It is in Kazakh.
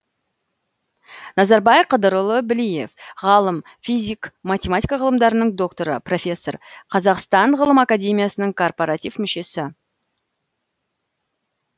назарбай қыдырұлы білиев ғалым физик математика ғылымдарының докторы профессор қазақстан ғылым академиясының коррпоратив мүшесі